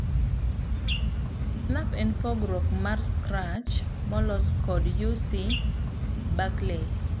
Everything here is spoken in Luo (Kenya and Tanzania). Snap en pogruok mar Scratch molos kod UC Berkeley.